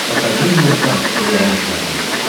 покажи мне шант сериал на смотрешке